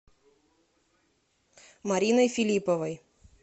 мариной филипповой